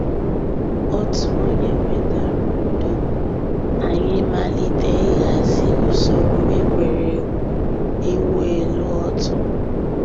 Ọ̀tù ònyè wètàrà ǔ́dọ̀, ànyị̀ màlítè íhàzì ǔsòrò ègwè́régwụ̀ ị̀wụ̀ èlù ọ̀tù.